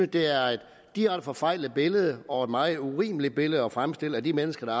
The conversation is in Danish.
det er et direkte forfejlet billede og et meget urimeligt billede at fremstille af de mennesker der